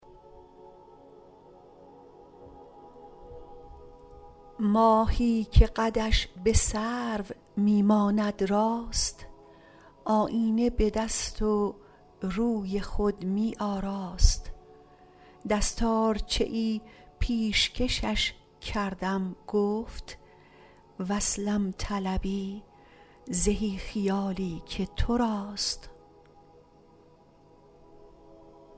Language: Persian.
ماهی که قدش به سرو می ماند راست آیینه به دست و روی خود می آراست دستارچه ای پیشکشش کردم گفت وصلم طلبی زهی خیالی که تو راست